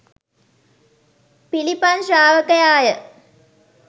පිළිපන් ශ්‍රාවකයා ය.